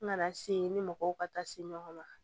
N nana se n ni mɔgɔw ka taa se ɲɔgɔn ma